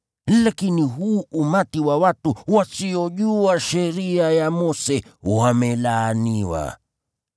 Lakini huu umati wa watu wasiojua Sheria ya Mose, wamelaaniwa.”